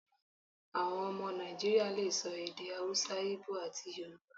Àwọn ọmọ Nàìjíríà le so èdè Hausa, Íbò, àti Yorùbá.